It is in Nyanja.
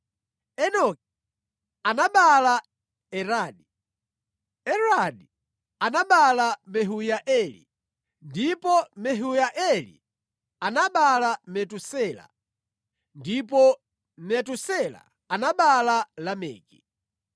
Enoki anabereka Iradi; Iradi anabereka Mehuyaeli, ndipo Mehuyaeli anabereka Metusela, ndipo Metusela anabereka Lameki.